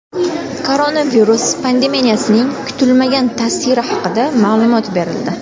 Koronavirus pandemiyasining kutilmagan ta’siri haqida ma’lumot berildi.